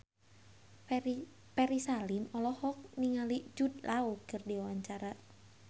Ferry Salim olohok ningali Jude Law keur diwawancara